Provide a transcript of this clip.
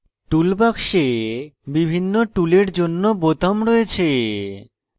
toolbox বিভিন্ন টুলের জন্য বোতাম রয়েছে